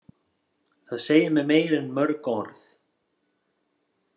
Það segir mér meira en mörg orð.